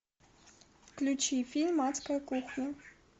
включи фильм адская кухня